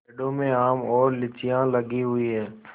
पेड़ों में आम और लीचियाँ लगी हुई हैं